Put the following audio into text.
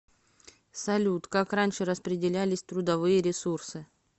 салют как раньше распределялись трудовые ресурсы